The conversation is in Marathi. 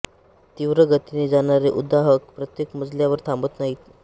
तीव्र गतीने जाणारे उद्वाहक प्रत्येक मजल्यावर थांबत नाहीत